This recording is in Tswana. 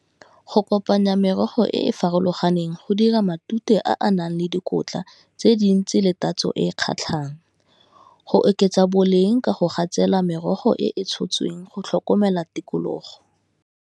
Go kopanya merogo e e farologaneng go dira matute a a nang le dikotla tse dintsi le tatso e e kgatlhang. Go oketsa boleng ka go gatsela merogo e e tshotsweng go tlhokomela tikologo.